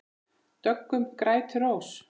Döggum grætur rós.